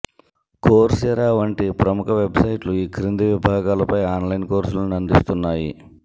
Coursera వంటి ప్రముఖ వెబ్సైట్లు ఈ కింది విభాగాలపై ఆన్లైన్ కోర్సులను అందిస్తున్నాయి